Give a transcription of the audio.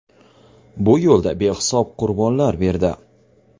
Bu yo‘lda behisob qurbonlar berdi.